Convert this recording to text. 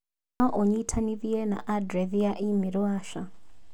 no u nyitanithie na andirethi ya i-mīrū Asha